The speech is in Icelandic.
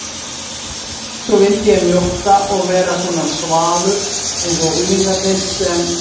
Svo vildi ég mjókka og vera svona svalur einsog unglingarnir sem